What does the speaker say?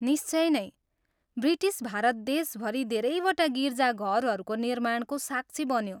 निश्चय नै। ब्रिटिस भारत देशभरि धेरैवटा गिर्जाघरहरूको निर्माणको साक्षी बन्यो।